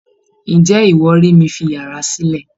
Ǹjẹ́ iwọ rí mí fi yàrá silẹ?